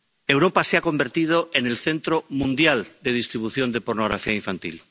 Europa se ha convertido en el centro mundial de distribución de pornografía infantil.